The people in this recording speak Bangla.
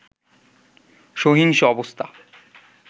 সহিংস অবস্থা